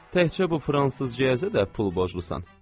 Təkcə bu fransızcaya da pul borclusan.